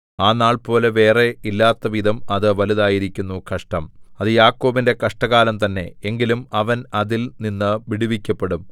ആ നാൾപോലെ വേറെ ഇല്ലാത്തവിധം അത് വലുതായിരിക്കുന്നു കഷ്ടം അത് യാക്കോബിന്റെ കഷ്ടകാലം തന്നെ എങ്കിലും അവൻ അതിൽ നിന്നു വിടുവിക്കപ്പെടും